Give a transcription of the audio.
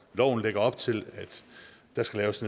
loven lægger op til at der skal laves